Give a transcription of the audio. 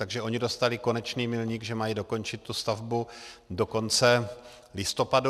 Takže oni dostali konečný milník, že mají dokončit tu stavbu do konce listopadu.